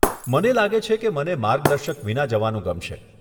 મને લાગે છે કે મને માર્ગદર્શક વિના જવાનું ગમશે.